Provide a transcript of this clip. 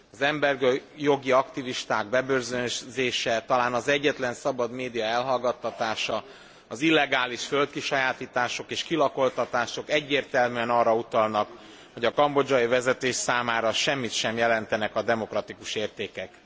Az emberjogi aktivisták bebörtönzése, talán az egyetlen szabad média elhallgattatása, az illegális földkisajátítások és kilakoltatások egyértelműen arra utalnak, hogy a kambodzsai vezetés számára semmit sem jelentenek a demokratikus értékek.